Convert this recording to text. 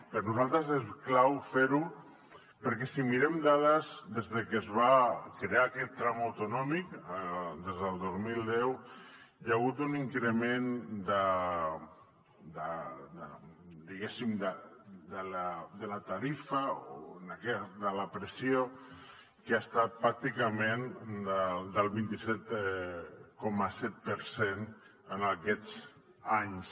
per nosaltres és clau fer ho perquè si mirem dades des de que es va crear aquest tram autonòmic des del dos mil deu hi ha hagut un increment diguéssim de la tarifa de la pressió que ha estat pràcticament del vint set coma set per cent en aquests anys